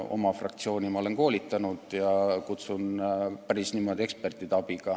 Oma fraktsiooni ma olen koolitanud ja kutsunud päris eksperte appi.